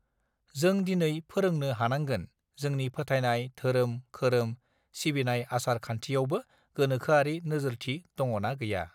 जों दिनै फोरोंनो हानांगोन जोंनि फोथायनाय धोरोम खोरोम सिबिनाय आसार खान्थियावबो गोनोखोआरि नोजोरथि दंङना गैया